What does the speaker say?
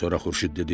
Sonra Xurşud dedi: